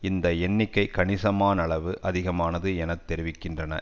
இந்த எண்ணிக்கை கணிசமானளவு அதிகமானது என தெரிவிக்கின்றன